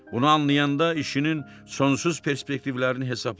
Bunu anlayanda işinin sonsuz perspektivlərini hesabladı.